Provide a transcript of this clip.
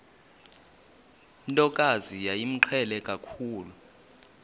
ntokazi yayimqhele kakhulu